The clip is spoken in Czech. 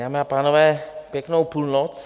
Dámy a pánové, pěknou půlnoc.